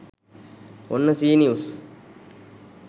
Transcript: ඔන්න C news